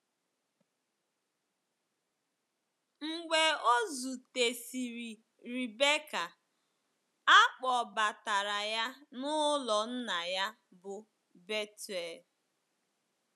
Mgbe o zutesịrị Rebecca, a kpọbatara ya n’ụlọ nna ya bụ́ Bethuel.